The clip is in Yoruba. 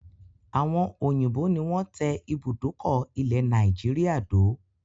Àwọn òyìnbó ni wọn tẹ ibùdókọ̀ ilẹ̀ Nàìjíríà dó